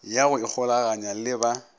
ya go ikgolaganya le ba